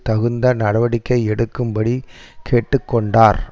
தகுந்த நடவடிக்கை எடுக்கும்படி கேட்டு கொண்டார்